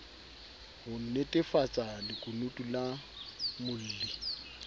ho nnetefatsa lekunutu la molli